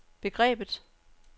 begrebet